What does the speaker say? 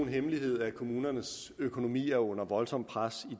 hemmelighed at kommunernes økonomi er under voldsomt pres